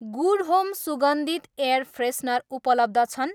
Good home सुगन्धित air freshener उपलब्ध छन्?